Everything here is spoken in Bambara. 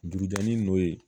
Dugujani no ye